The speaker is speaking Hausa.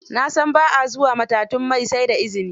Na san ba a zuwa matatun mai sai da izini